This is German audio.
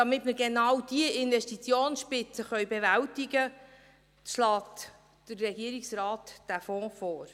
Damit wir genau diese Investitionsspitze bewältigen können, schlägt der Regierungsrat diesen Fonds vor.